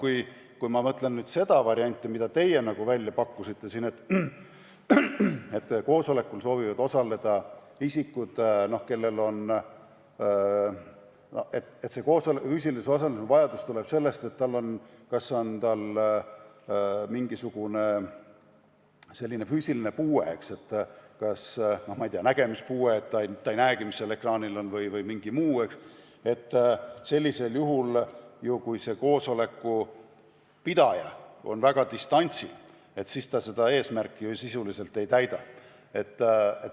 Aga kui ma mõtlen seda varianti, mille teie välja pakkusite, et koosolekul soovivad osaleda isikud, kelle füüsilise osalemise vajadus tuleb sellest, et tal on puue – ma ei tea, näiteks nägemispuue ja ta ei näe, mis ekraanil on, või mingi muu puue –, siis kui koosoleku juhataja tegutseb distantsilt, siis seda eesmärki ju sisuliselt ei täideta.